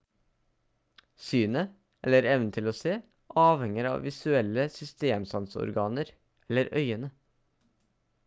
synet eller evnen til å se avhenger av visuelle systemsanseorganer eller øyne